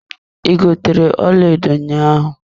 I gotere ọlaedo ahụ ụnyaahụ.